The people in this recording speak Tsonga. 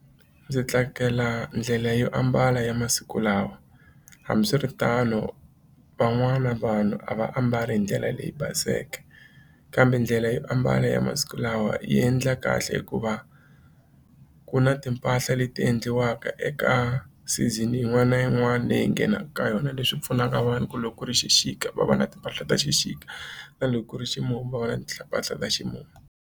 Ndzi tsakela ndlela yo ambala ya masiku lawa hambiswiritano van'wana vanhu a va ambali hi ndlela leyi baseke kambe ndlela yo ambala ya masiku lawa yi endla kahle hikuva ku na timpahla leti endliwaka eka season yin'wana na yin'wana leyi nghenaka ka yona leswi pfunaka vanhu ku loko ku ri xixika va va na timpahla ta xixika tani loko ku ri ximumu va na mpahla ta ximumu.